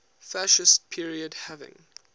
fascist period having